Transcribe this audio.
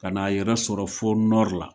Kan'a yɛrɛ sɔrɔ fo la